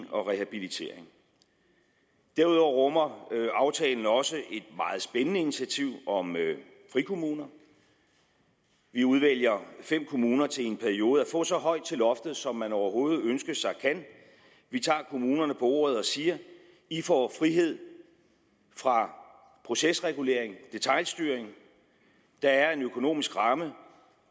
og rehabilitering derudover rummer aftalen også et meget spændende initiativ om frikommuner vi udvælger fem kommuner til i en periode at få så højt til loftet som man overhovedet ønske sig kan vi tager kommunerne på ordet og siger i får frihed fra procesregulering detailstyring der er en økonomisk ramme